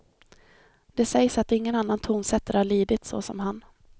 Det sägs att ingen annan tonsättare har lidit såsom han.